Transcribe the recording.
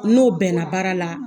N n'o bɛnna baara la.